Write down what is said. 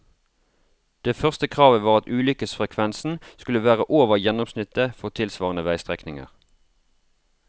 Det første kravet var at ulykkesfrekvensen skulle være over gjennomsnittet for tilsvarende veistrekninger.